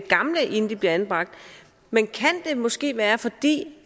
gamle inden de bliver anbragt men kan det måske være